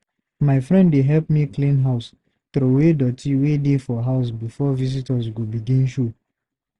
My friend dey help me clean house, troway doty wey dey for house before visitor go begin show.